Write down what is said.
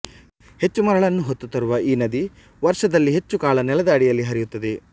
ಹೆಚ್ಚು ಮರಳನ್ನು ಹೊತ್ತು ತರುವ ಈ ನದಿ ವರ್ಷದಲ್ಲಿ ಹೆಚ್ಚುಕಾಲ ನೆಲದ ಅಡಿಯಲ್ಲಿ ಹರಿಯುತ್ತದೆ